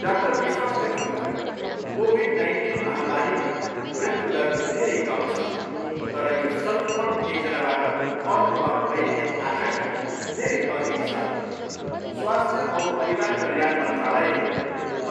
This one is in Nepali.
डाक्टर विश्वासले भन्नुभयो, कोभिड नाइन्टिन महामारीमा मृत्यु दर धेरै कम छ तर यो सङ्क्रमण एकजनाबाट अर्कोमा फैलिने आशङ्का धेरै अधिक छ। स्वास्थ्य औ परिवार कल्याण मन्त्रालयले